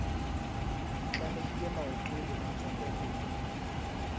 tlamehile maoto le matsoho ho